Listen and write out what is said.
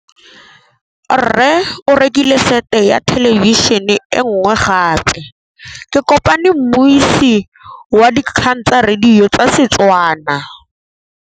Rre o rekile sete ya thêlêbišênê e nngwe gape. Ke kopane mmuisi w dikgang tsa radio tsa Setswana.